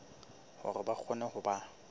hore ba kgone ho ba